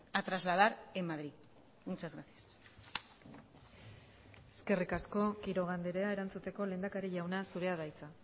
a trasladar en madrid muchas gracias eskerrik asko quiroga andrea erantzuteko lehendakari jauna zurea da hitza